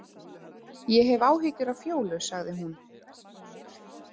Ég hef áhyggjur af Fjólu, sagði hún.